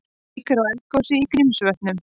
Líkur á eldgosi í Grímsvötnum